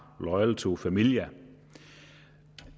loyal to familia